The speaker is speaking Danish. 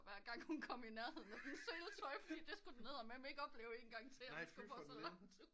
Hver gang hun kom i nærhenden af dens seletøj fordi det skulle den eddermame ikke opleve en gang til at den skulle gå så langt